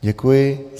Děkuji.